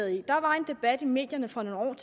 i der var en debat i medierne for nogle år